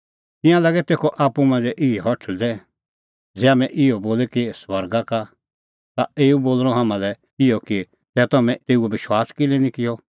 तिंयां लागै तेखअ आप्पू मांझ़ै इहै हठल़दै ज़ै हाम्हैं इहअ बोले कि स्वर्गा का तै एऊ बोल़णअ हाम्हां लै इहअ कि तै तम्हैं तेऊओ विश्वास किल्है निं किअ